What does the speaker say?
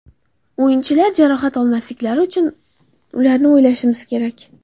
O‘yinchilar jarohat olmasliklari uchun ularni o‘ylashimiz kerak.